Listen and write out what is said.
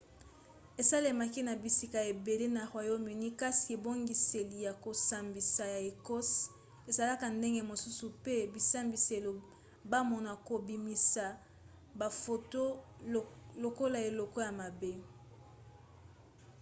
esalemaka na bisika ebele na royaume-uni kasi ebongiseli ya kosambisa ya ecosse esalaka ndenge mosusu pe bisambiselo bamona kobimisa bafoto lokola eloko ya mabe